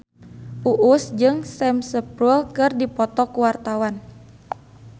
Uus jeung Sam Spruell keur dipoto ku wartawan